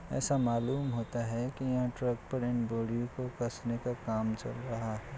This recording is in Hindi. ऐसा मालूम होता है कि यहां ट्रक पैरेंट बॉडी को कसने का काम चल रहा है।